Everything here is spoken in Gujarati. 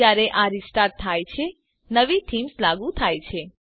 જયારે આ રીસ્ટાર્ટ થાય છે નવી થીમ્સ લાગુ થાય છે